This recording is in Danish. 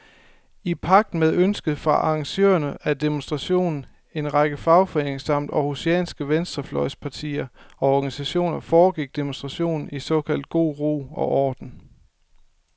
I pagt med ønsket fra arrangørerne af demonstrationen, en række fagforeninger samt århusianske venstrefløjspartier og organisationer, foregik demonstrationen i såkaldt god ro og orden.